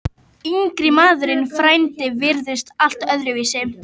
Yngri maðurinn, frændinn, virtist allt öðruvísi.